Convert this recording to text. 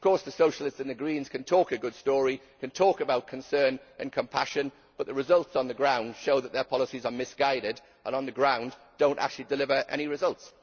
Of course the Socialists and the Greens can talk a good story, can talk about concern and compassion, but the results on the ground show that their policies are misguided and on the ground do not actually deliver any results.